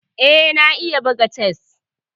Eh, na iya buga chess.